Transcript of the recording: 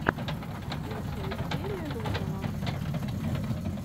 лучшая серия рудного